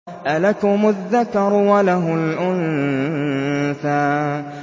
أَلَكُمُ الذَّكَرُ وَلَهُ الْأُنثَىٰ